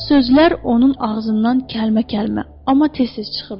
Sözlər onun ağzından kəlmə-kəlmə, amma tez-tez çıxırdı.